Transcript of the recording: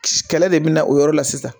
Kɛlɛ de bɛ na o yɔrɔ la sisan